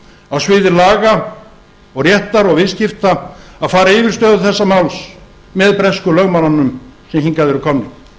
á sviði laga og réttar og viðskipta að fara yfir stöðu þessa máls með bresku lögmönnunum sem hingað eru komnir